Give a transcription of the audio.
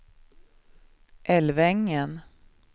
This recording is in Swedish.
Älvängen